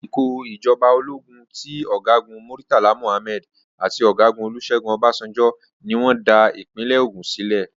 Àsìkò ìjọba ológun ti ọ̀gágu Murtala Muhammed àti ọ̀gágun Olúṣẹ́gun Ọbasanjo ní wọ́n dá ìpínlẹ̀ Ogùn sílẹ̀.